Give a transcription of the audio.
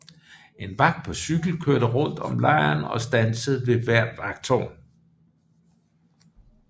En vagt på cykel kørte rundt om lejren og standsede ved hvert vagttårn